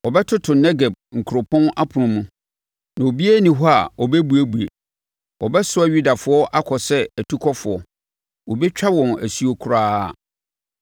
Wɔbɛtoto Negeb nkuropɔn apono mu, na obiara nni hɔ a ɔbɛbuebue. Wɔbɛsoa Yudafoɔ akɔ sɛ atukɔfoɔ, wɔbɛtwa wɔn asuo koraa.